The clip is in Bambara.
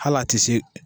Hal'a ti se